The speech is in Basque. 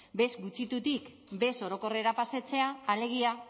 bez gutxitutik bez orokorrera pasatzea alegia